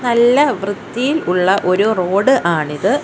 നല്ല വൃത്തിയിൽ ഉള്ള ഒരു റോഡ് ആണിത്.